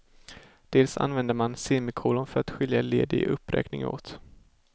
Dels använder man semikolon för att skilja led i en uppräkning åt.